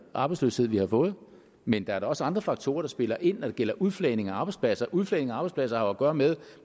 arbejdsløshed vi har fået men der er da også andre faktorer der spiller ind når det gælder udflagning af arbejdspladser udflagning af arbejdspladser har jo at gøre med